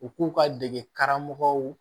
U k'u ka degeli karamɔgɔw